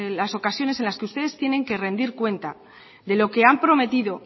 otras ocasiones en las que ustedes tienen que rendir cuenta de lo que han prometido